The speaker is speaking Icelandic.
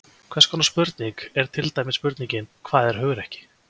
Hvers konar spurning er til dæmis spurningin Hvað er hugrekki?